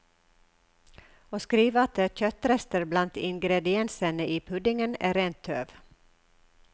Å skrive at det er kjøttrester blant ingrediensene i puddingen, er det rene tøv.